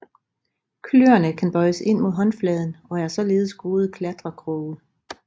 Kløerne kan bøjes ind mod håndfladen og er således gode klatrekroge